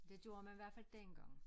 Det gjorde man i hvert fald dengang